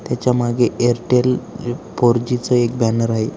त्याच्या मागे Airtel four G च एक बॅनर आहे.